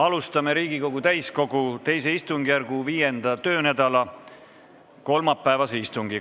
Alustame Riigikogu täiskogu II istungjärgu 5. töönädala kolmapäevast istungit.